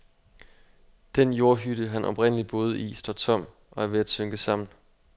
Den jordhytte, han oprindelig boede i, står tom, og er ved at synke sammen.